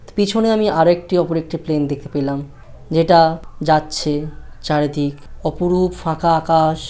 পিছনে আমি আরেকটি উপরে একটি প্লেন দেখতে পেলাম যেটা যাচ্ছে চারিদিক অপরূপ ফাঁকা আকাশ।